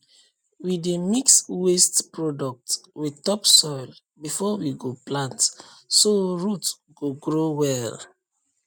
we dey mix waste product with topsoil before we go plant so root go grow well